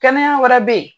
Kɛnɛya wɛrɛ bɛ yen